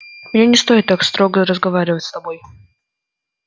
мне не стоит так строго разговаривать с тобой